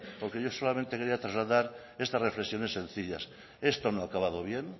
porque yo solamente quería trasladar estas reflexiones sencillas esto no ha acabado bien